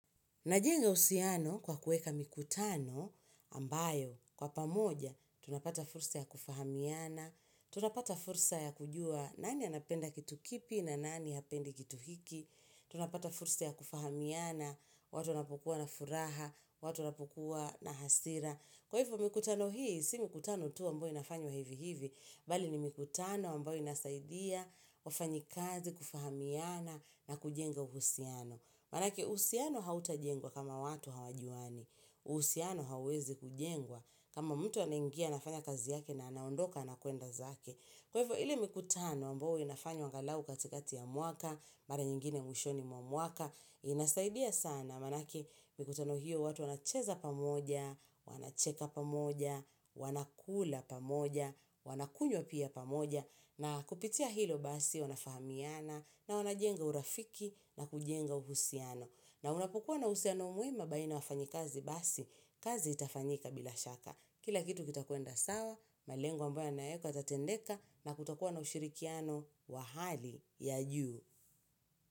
Najenga usiano kwa kueka mikutano ambayo, kwa pamoja, tunapata fursa ya kufahamiana, tunapata fursa ya kujua nani anapenda kitu kipi na nani apendi kitu hiki, tunapata fursa ya kufahamiana, watu wanapukua na furaha, watu napukua na hasira. Kwa hivyo mikutano hii, si mikutano tu wambayo inafanyo hivi hivi, bali ni mikutano wambayo inasaidia, wafanyi kazi, kufahamiana na kujenga uhusiano. Manake uhusiano hauta jengwa kama watu hawajuwani, uhusiano hawezi kujengwa kama mtu anengia nafanya kazi yake na anaondoka anakuenda zake. Kwevo hili mikutano ambo winafanyo angalau katikati ya muaka, mara nyingine mwishoni muamuaka, inasaidia sana manake mikutano hiyo watu wanacheza pamoja, wanacheka pamoja, wanakula pamoja, wanakunyo pia pamoja, na kupitia hilo basi wanafahamiana, na wanajenga urafiki, na kujenga uhusiano. Na unapukua na usiano muema baina wafanyi kazi basi, kazi itafanyika bila shaka. Kila kitu kitakuenda sawa, malengu ambayo naeka yatatendeka na kutakuwa na ushirikiano wa hali ya juu.